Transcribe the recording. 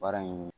Baara in